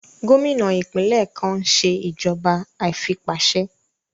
Gómìnà ìpínlẹ̀ kan n ṣe ìjọba àìfipáṣe